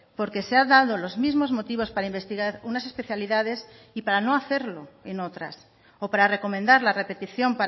porque se ha dado los mismos motivos para investigar unas especialidades y para no hacerlo en otras o para recomendar la repetición